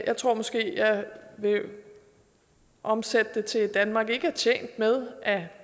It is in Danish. jeg tror måske jeg vil omsætte det til at danmark ikke er tjent med at